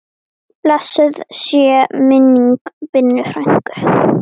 Blessuð sé minning Binnu frænku.